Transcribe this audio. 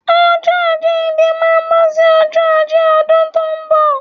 Ọjọ́ àjíǹde máa bọ́ sí ọjọ́ Ajé ọdún tó bọ̀